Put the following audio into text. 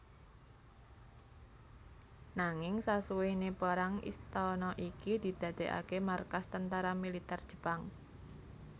Nanging sasuwene perang istana iki didadekake markas tentara militer Jepang